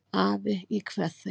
Afi, ég kveð þig.